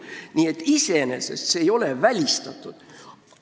Nii et selline samm ei ole iseenesest välistatud.